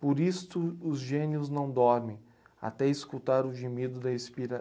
Por isto os gênios não dormem até escutar o gemido da